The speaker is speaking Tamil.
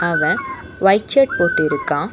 அவன் ஒயிட் ஷர்ட் போட்டிருக்கான்.